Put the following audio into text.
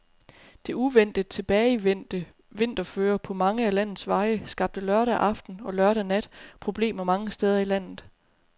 Det uventet tilbagevendte vinterføre på mange af landets veje skabte lørdag aften og lørdag nat problemer mange steder i landet.